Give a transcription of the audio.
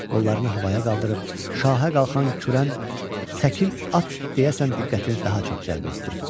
Qollarını havaya qaldırıb şahə qalxan kürən səkil at deyəsən diqqətini daha çox cəlb etdi.